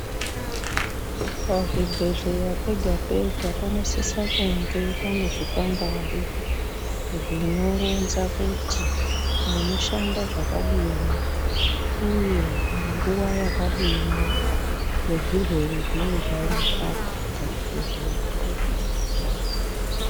Pa zvibhedhleya pega pega panosisa kunge pane zvikwangwari zvinoronza kuti munoshanda zvakadini uye nguva yakadini ne zvirwere zvinenge zvei rapwapo pa zvibhedhleya po.